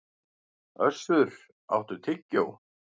Össur, áttu tyggjó?